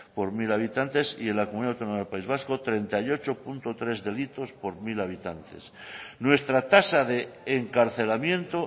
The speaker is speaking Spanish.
por mil habitantes y en la comunidad autónoma del país vasco treinta y ocho coma tres delitos por mil habitantes nuestra tasa de encarcelamiento